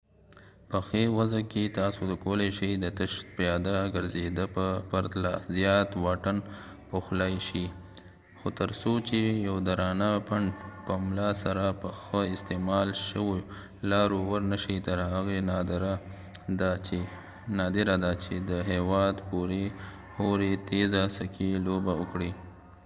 په ښې وضع کې تاسو کولای شې د تش پیاده ګرځېدا په پرتله زیات واټن پوښلای شئ – خو تر څو چې یو درانه پنډ په ملا سره په ښه استعمال شویو لارو ورنشئ تر هغې نادره ده چې د هېواد پورې هورې تېزه سکي لوبه وکړئ